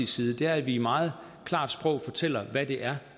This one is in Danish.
side er at vi i meget klart sprog fortæller hvad det er